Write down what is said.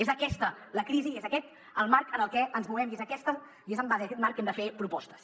és aquesta la crisi i és aquest el marc en el que ens movem i és en aquest marc que hem de fer propostes